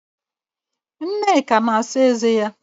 Nneka na-asa eze ya